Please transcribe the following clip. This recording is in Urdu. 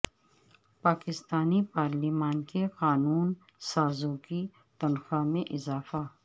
پاکستانی پارلیمان کے قانون سازوں کی تنخواہ میں اضافہ